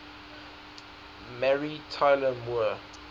mary tyler moore